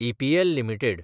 EPL limited